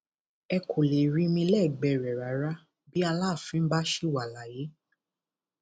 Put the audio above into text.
ẹ kò lè rí mi lẹgbẹẹ rẹ rárá bí aláàfin bá ṣì wà láyé